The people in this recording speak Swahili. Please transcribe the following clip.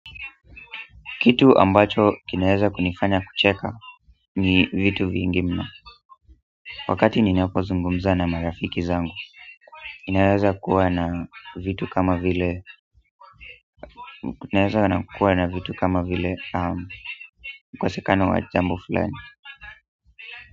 Kitu ambacho kinaweza kunifanya kucheka ni vitu vingi mno wakati ninapozungumza na marafiki zangu ninaweza nikakua na vitu kama vile ukosekano wajambo fulani.